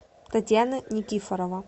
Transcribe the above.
татьяна никифорова